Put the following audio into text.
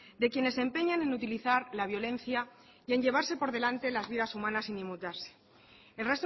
de quienes se empeñan en utilizar la violencia y en llevarse por delante las vidas humanas sin inmutarse el